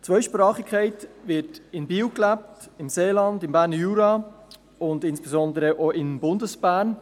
Die Zweisprachigkeit wird in Biel, im Seeland und im Berner Jura gelebt, und insbesondere auch in Bundesbern.